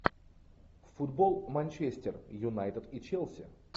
футбол манчестер юнайтед и челси